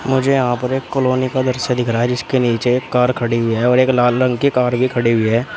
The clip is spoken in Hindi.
मुझे यहां पर एक कॉलोनी का दृश्य दिख रहा है जिसके नीचे एक कार खड़ी हुई है और एक लाल रंग की कार भी खड़ी हुई है।